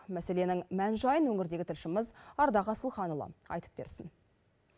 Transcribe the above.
мәселенің мән жайын өңірдегі тілшіміз ардақ асылханұлы айтып берсін